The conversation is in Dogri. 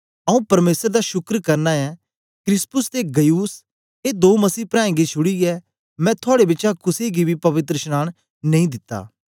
आऊँ परमेसर दा शुक्र करना ऐ क्रिस्पुस ते गयुस ए दो मसीह प्राऐं गी छुड़ीयै मैं थुआड़े बिचा कुसे गी बी पवित्रशनांन नेई दिता